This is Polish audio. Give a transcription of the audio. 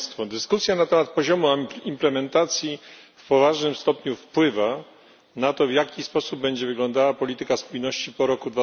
Dyskusja na temat poziomu implementacji w poważnym stopniu wpływa na to, w jaki sposób będzie wyglądała polityka spójności po roku